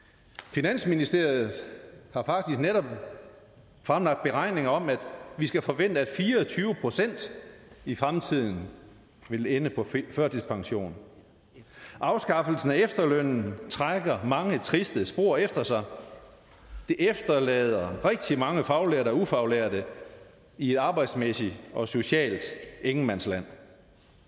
finansministeriet har faktisk netop fremlagt beregninger om at vi skal forvente at fire og tyve procent i fremtiden vil ende på førtidspension afskaffelsen af efterlønnen trækker mange triste spor efter sig det efterlader rigtig mange faglærte og ufaglærte i et arbejdsmæssigt og socialt ingenmandsland